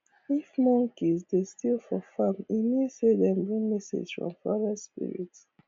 if monkeys dey steal for farm e mean say dem bring message from forest spirit